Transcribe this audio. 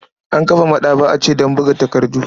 An kafa maɗaba'a ce don buga takardu.